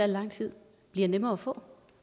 lang tid bliver nemmere at få